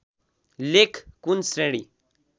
लेख कुन श्रेणी